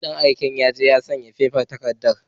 Dan aike yaje ya sayi faifan takarda